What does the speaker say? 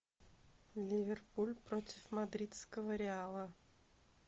ливерпуль против мадридского реала